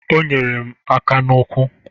O nyere m aka n'ụkwụ.